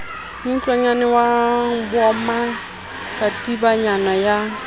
mootlwana wa moma katibanyana ya